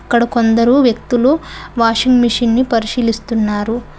ఇక్కడ కొందరు వ్యక్తులు వాషింగ్ మెషిన్ ని పరిశీలిస్తున్నారు.